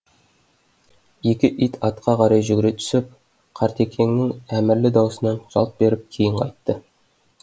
екі ит атқа қарай жүгіре түсіп қартекеңнің әмірлі даусынан жалт беріп кейін қайтты